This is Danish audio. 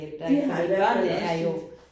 De har i hvert fald også lidt